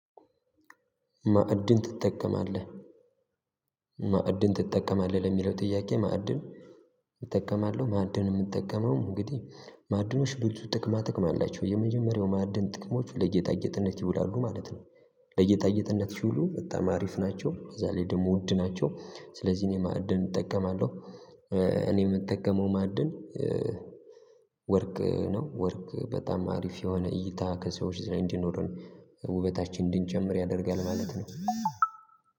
ማዕድን ትጠቀማለህ ማዕድን ትጠቀማለህ? ለሚለው ጥያቄ ማዕድን እጠቀማለው ማዕድን የምጠቀመው እንግዲህ ማዕድኖች ብዙ ጥቅማ ጥቅም አላቸው የመጀመሪያው ማዕድን ጥቅሞች ለጌጣጌጥነት ይውላሉ ማለት ነው። ለጌጣጌጥነት ሲውሉ በጣም አሪፍ ናቸው በዛ ላይ ደግሞ ውድ ናቸው ስለዚህ እኔ ማዕድን እጠቀማለው። እኔ የምጠቀመው ማዕድን ወርቅ ነው። ወርቅ በጣም አሪፍ የሆነ እይታ ከሰዎች ዘንድ እንዲኖረን ውበታችን እንድንጨምር ያደርጋል ማለት ነው።